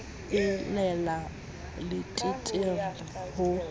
e le la leteterre ho